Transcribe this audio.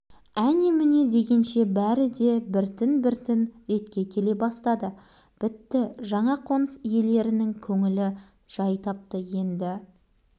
алайда жаңа үйдің ауласы құрылыс материалдарының қалдықтарынан тазартылмай тротуар кірме жол асфальтталынбай біраз жатты